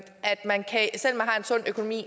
sund økonomi